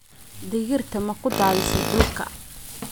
Digirta ma ku daadisay dhulka?